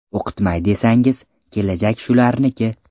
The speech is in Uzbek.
O‘qitmay desangiz, kelajak shularniki.